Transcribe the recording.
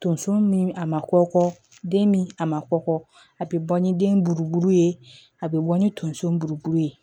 Tonso min a ma kɔkɔ den min a ma kɔkɔ a bi bɔ ni den buruburu ye a be bɔ ni tonso buruburu ye